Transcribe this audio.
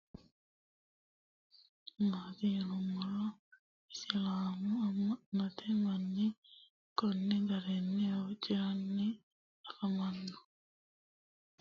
tenne misile aana noorina tini misile biiffanno garinni babaxxinno daniinni xawisse leelishanori isi maati yinummoro isilaamu ama'notte manni konni garinni huuciranni affammanno